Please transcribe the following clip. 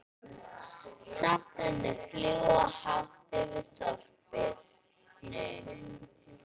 Hrafnarnir fljúga hátt yfir þorpinu.